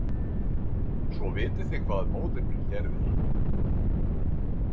Svo vitið þið hvað móðir mín gerði?